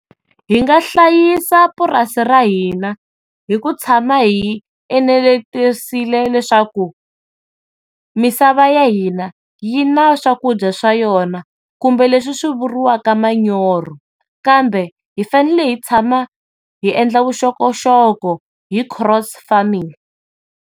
Hi nga hlayisa purasi ra hina hi ku tshama hi enelekisile leswaku misava ya hina yina swakudya swa yona kumbe leswi swi vuriwaka manyorha kambe hifanekele hi tshama hi endla vuxokoxoko hi cross farming.